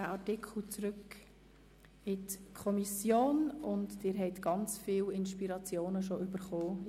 Dieser Artikel geht zurück in die Kommission, und sie hat in dieser Diskussion bereits viele Inspirationen erhalten, welche sie aufnehmen kann.